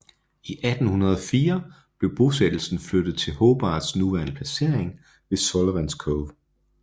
I 1804 blev bosættelsen flyttet til Hobarts nuværende placering ved Sullivans Cove